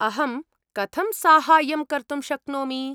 अहं कथं साहाय्यं कर्तुं शक्नोमि?